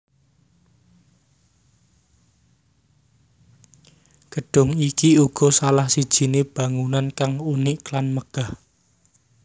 Gedung iki uga salah sijine bangunan kang unik lan megah